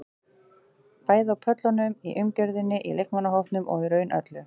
Bæði á pöllunum, í umgjörðinni, í leikmannahópnum og í raun öllu.